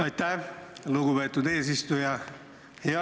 Aitäh, lugupeetud eesistuja!